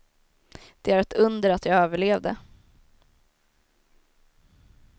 Det är ett under att jag överlevde.